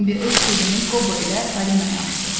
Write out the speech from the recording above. Bimbi öz sirrini Qobo ilə Falinaya açdı.